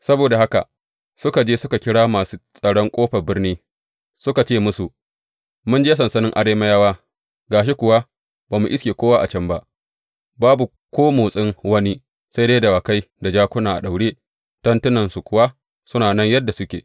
Saboda haka suka je suka kira masu tsaron ƙofar birni, suka ce musu, Mun je sansanin Arameyawa, ga shi kuwa ba mu iske kowa a can ba, babu ko motsin wani, sai dai dawakai da jakuna a daure, tentunan kuwa suna nan yadda suke.